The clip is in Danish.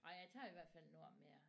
Ej jeg tager i hvert fald nogle år mere